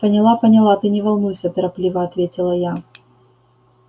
поняла поняла ты не волнуйся торопливо ответила я